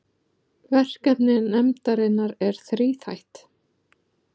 Verkefni nefndarinnar er þríþætt